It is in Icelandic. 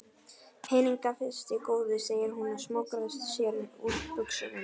Peningana fyrst góði, segir hún og smokrar sér úr buxunum.